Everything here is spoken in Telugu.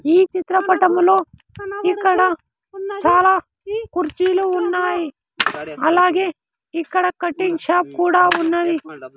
ఈ చిత్రపటంలో ఇక్కడ చాలా కుర్చీలు ఉన్నాయి అలాగే ఇక్కడ కటింగ్ షాప్ కూడా ఉన్నది.